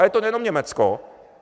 Ale je to nejenom Německo.